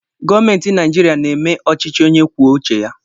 Gọọmenti Naijiria na-eme ọchịchị onye kwuo uche ya.